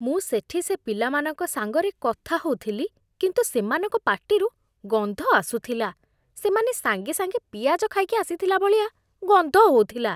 ମୁଁ ସେଠି ସେ ପିଲାମାନଙ୍କ ସାଙ୍ଗରେ କଥା ହଉଥିଲି, କିନ୍ତୁ ସେମାନଙ୍କ ପାଟିରୁ ଗନ୍ଧ ଆସୁଥିଲା । ସେମାନେ ସାଙ୍ଗେ ସାଙ୍ଗେ ପିଆଜ ଖାଇକି ଆସିଥିଲା ଭଳିଆ ଗନ୍ଧ ହଉଥିଲା ।